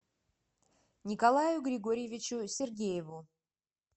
николаю григорьевичу сергееву